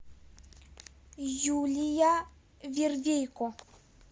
юлия вервейко